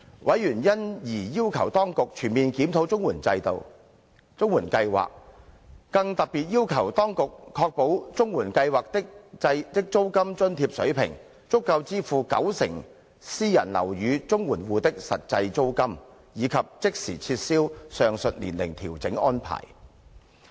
委員因而要求當局全面檢討綜援計劃，更特別要求當局確保綜援計劃的租金津貼水平，足夠支付九成私人樓宇綜援戶的實際租金，以及即時撤銷上述年齡調整安排。